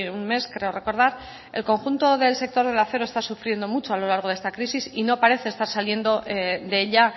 un mes creo recordar el conjunto del sector del acero está sufriendo mucho a lo largo de esta crisis y no parece estar saliendo de ella